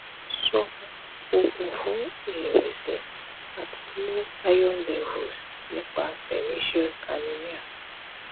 so ogun fun irewesi ati low iron levels nipa pernicious anemia